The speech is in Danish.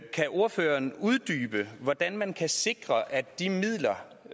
kan ordføreren uddybe hvordan man kan sikre at de midler